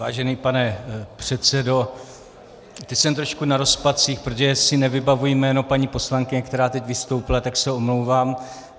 Vážený pane předsedo, teď jsem trošku na rozpacích, protože si nevybavuji jméno paní poslankyně, která teď vystoupila, tak se omlouvám.